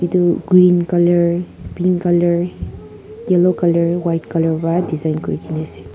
etu green colour pink colour yellow white colour para design kori kina ase.